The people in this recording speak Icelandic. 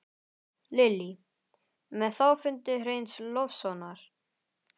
Lillý: Með þá fundi Hreins Loftssonar?